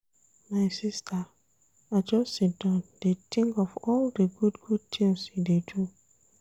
My sista, I just siddon dey tink of all di good-good tins you dey do.